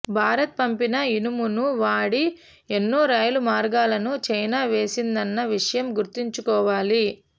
భారత్ పంపిన ఇనుమును వాడి ఎన్నో రైలు మార్గాలను చైనా వేసిందన్న విషయం గుర్తుంచుకోవాలి